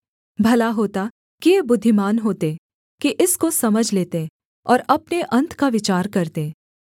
भला होता कि ये बुद्धिमान होते कि इसको समझ लेते और अपने अन्त का विचार करते